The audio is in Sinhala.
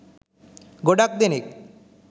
ගොඩක් දෙනෙක්